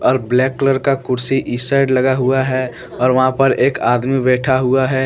और black colour का कुर्सी इस साइड लगा हुआ है और वहाँ पर एक आदमी बैठा हुआ है।